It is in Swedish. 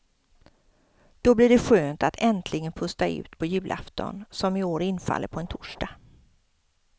Då blir det skönt att äntligen pusta ut på julafton, som i år infaller på en torsdag.